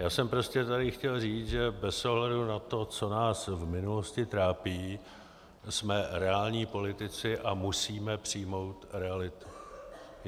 Já jsem prostě tady chtěl říct, že bez ohledu na to, co nás v minulosti trápilo, jsme reální politici a musíme přijmout realitu.